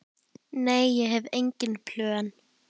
Nei, ég hef engin plön.